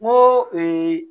N ko